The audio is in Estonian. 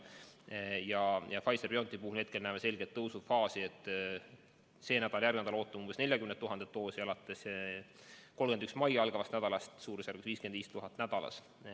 Pfizer/BioNTechi puhul me näeme selget tõusufaasi: sellel ja järgmisel nädalal ootame 40 000 doosi, 31. maiga algavast nädalast suurusjärgus 55 000 doosi nädalas.